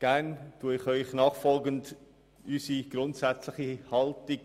Ich erläutere Ihnen gerne nachfolgend unsere grundsätzliche Haltung.